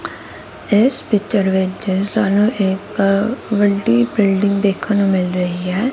ਇਸ ਪਿੱਚਰ ਵਿੱਚ ਸਾਨੂੰ ਇੱਕ ਵੱਡੀ ਬਿਲਡਿੰਗ ਦੇਖਣ ਨੂੰ ਮਿਲ ਰਹੀ ਹੈ।